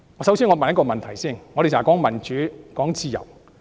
首先讓我問一個問題，我們經常說民主、自由。